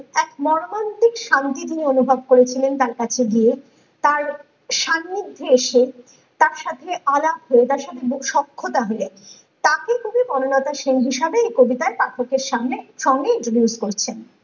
এক মর্মান্তিক শান্তি তিনি অনুভব করেছিলেন তার কাছে গিয়ে তার সান্নিধ্যে এসে তার সাথে আলাপ হয়ে তার সাথে সাক্ষাত দিলেন ।তাকে তিনি বনলতা সেন হিসেবে এই কবিতায় পাঠকের সামনে সঙ্গে introduce করছেন